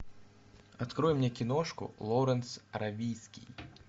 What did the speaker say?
открой мне киношку лоуренс аравийский